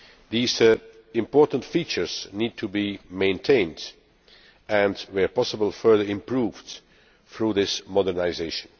These important features need to be maintained and, where possible, further improved through this modernisation.